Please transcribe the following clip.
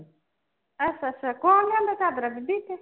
ਅੱਛਾ ਅੱਛਾ ਕੌਣ ਲਿਆਂਦਾ ਚਾਦਰਾਂ ਬੀਬੀ ਇਥੇ